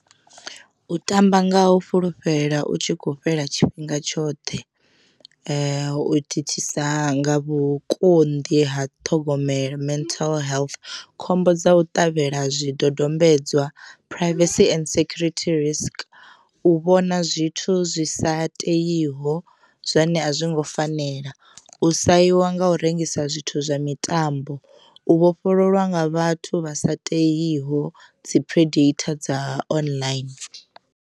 U tamba nga u fhulufhela u tshi khou fhela tshifhinga tshoṱhe u thithisa nga vhukonḓi ha ṱhogomelo mental health khombo dza u ṱavhela zwidodombedzwa phuraivesi and sekhurithi risk, u vhona zwithu zwi sa teiho zwine a zwi ngo fanela u sahiwa nga u rengisa zwithu zwa mitambo, u vhofhololwa nga vhathu vha sa teiho dzi predator dza online.